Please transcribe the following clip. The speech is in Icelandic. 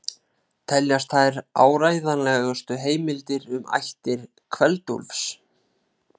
Teljast þær áreiðanlegustu heimildir um ættir Kveld-Úlfs.